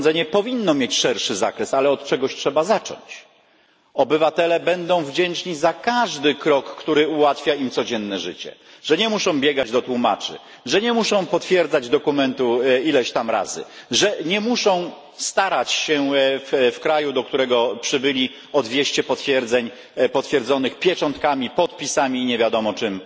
Powinno mieć szerszy zakres, ale od czegoś trzeba zacząć. Obywatele będą wdzięczni za każdy krok, który ułatwia im codzienne życie, który oznacza, że nie muszą biegać do tłumaczy, że nie muszą potwierdzać dokumentu ileś tam razy, że nie muszą starać się w kraju, do którego przybyli o dwieście zaświadczeń potwierdzonych pieczątkami, podpisami i nie wiadomo czym